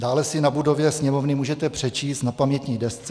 Dále si na budově Sněmovny můžete přečíst na pamětní desce: